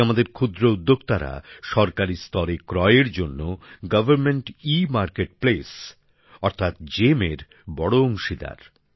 আজ আমাদের ক্ষুদ্র উদ্যোক্তারা সরকারি স্তরে ক্রয়এর জন্য গভর্নমেন্ট ইমার্কেট প্লেস অর্থাৎ জিইএম এর বড় অংশীদার